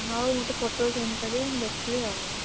ହଉ ମୋତେ photo send ମୁଁ ଦେଖିବି ଆଉ।